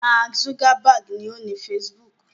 Mark Zuckerberg ni ó ni Facebook.